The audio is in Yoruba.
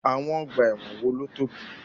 Àwọn ọgbà ẹ̀wọ̀n wo ló tóbi?